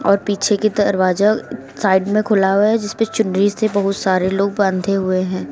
और पीछे की तरफ दरवाजा साइड में खुला हुआ है जिस पे चुनरी से बहुत सारे लोग बंधे हुए हैं।